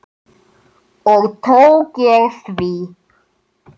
Og tók ég því.